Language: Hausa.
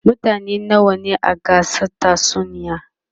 mutane nawa ne a gasar tatsuniyar?